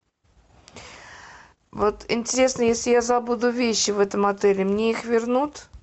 вот интересно если я забуду вещи в этом отеле мне их вернут